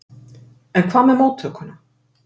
En hvað með móttökuna?